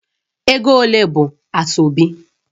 Ego ole bụ Asoebi?